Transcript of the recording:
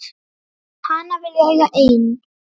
Hana vil ég eiga ein.